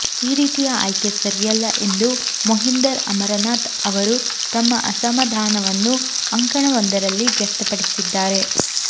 ಈ ರೀತಿಯ ಆಯ್ಕೆ ಸರಿಯಲ್ಲ ಎಂದು ಮೊಹಿಂದರ್ ಅಮರನಾಥ್ ಅವರು ತಮ್ಮ ಅಸಮಾಧಾನವನ್ನು ಅಂಕಣವೊಂದರಲ್ಲಿ ವ್ಯಕ್ತಪಡಿಸಿದ್ದಾರೆ